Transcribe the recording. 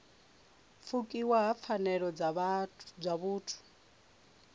pfukiwa ha pfanelo dza vhuthu